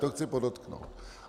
To chci podotknout.